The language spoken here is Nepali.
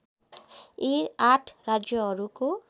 यी आठ राज्यहरूको